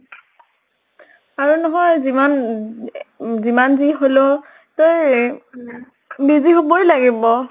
আৰু নহয় যিমান উ যিমান যি হলেও তই busy হʼবই লাগিব।